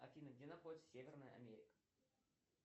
афина где находится северная америка